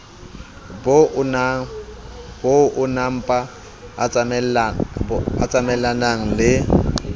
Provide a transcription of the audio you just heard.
bo oonaempa a tsamaellanang le